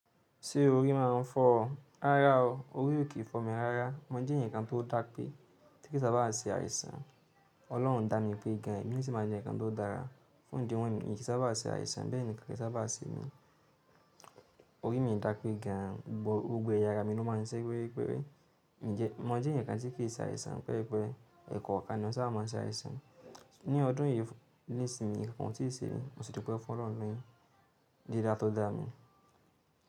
Ṣé orí má a ń fọ́ ọ? Rárá o, orí ò kí fọ́ mi rárá. Mo jẹ́ ǹkan tó dápé tí kí sà bá à se àìsàn. Ọlọ́run dá mi pé gan, èmi sì ma jẹ́ ǹkan tó dára. Fún ìdí wọ́n yi in ki sà bá à se àìsàn, bẹ́ẹ̀ ni ìki sà bá à se mí. Orí mi dápé gan, gbogbo ẹyà ara mi ló máa ń ṣẹ́ péré péré. Mo jẹ́ ǹkan tí kí se àìsàn to jẹ pé, ẹ̀kọ kan ni mo sà báa ń se àìsàn. Ni ọdún yìí nísìnyí, nǹkan o tí se mi, mo sì du pẹ́ fún Ọlọ́run ní dídá tó dá mi.